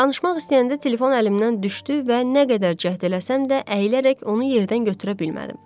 Danışmaq istəyəndə telefon əlimdən düşdü və nə qədər cəhd eləsəm də, əyilərək onu yerdən götürə bilmədim.